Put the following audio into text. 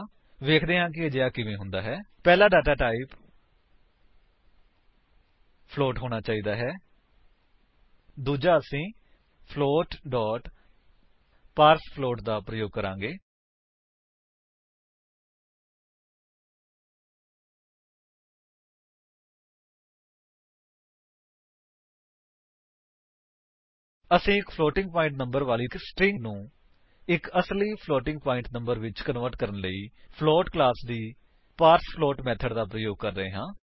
ਵੇਖਦੇ ਹਨ ਕਿ ਅਜਿਹਾ ਕਿਵੇਂ ਹੁੰਦਾ ਹੈ160 ਪਹਿਲਾ ਡੇਟਾ ਟਾਈਪ ਫਲੋਟ ਹੋਣਾ ਚਾਹੀਦਾ ਹੈ ਦੂਜਾ ਅਸੀ ਫਲੋਟ ਪਾਰਸਫਲੋਟ ਦਾ ਪ੍ਰਯੋਗ ਕਰਾਂਗੇ ਅਸੀ ਇੱਕ ਫਲੋਟਿੰਗ ਪਾਇੰਟ ਨੰਬਰ ਵਾਲੀ ਸਟਰਿੰਗ ਨੂੰ ਇੱਕ ਅਸਲੀ ਫਲੋਟਿੰਗ ਪਾਇੰਟ ਨੰਬਰ ਵਿੱਚ ਕਨਵਰਟ ਕਰਨ ਲਈ ਫਲੋਟ ਕਲਾਸ ਦੀ ਪਾਰਸਫਲੋਟ ਮੇਥਡਸ ਦਾ ਪ੍ਰਯੋਗ ਕਰ ਰਹੇ ਹਾਂ